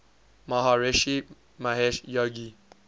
maharishi mahesh yogi